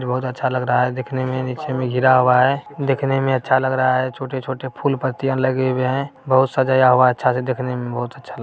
बहुत अच्छा लग रहा देखने में नीचे में गिरा हुआ है देखने में अच्छा लग रहा है छोटे-छोटे फूल पत्तियां लगे हुए हैं बहुत सजाया हुआ है अच्छा से देखने में बहुत अच्छा --